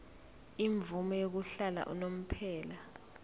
imvume yokuhlala unomphela